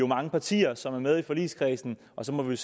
mange partier som er med i forligskredsen og så må vi